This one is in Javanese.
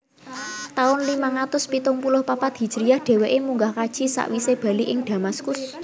Taun limang atus pitung puluh papat hijriyah dheweke munggah kaji sakwise bali ing Damaskus